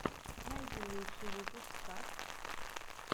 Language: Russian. найди лучший выпуск кат